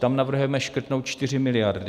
Tam navrhujeme škrtnout 4 miliardy.